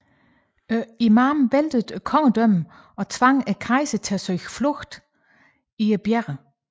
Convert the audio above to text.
Imamen væltede kongedømmet og tvang kejseren til at søge tilflugt i bjergene